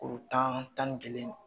Woro tan tan ni kelen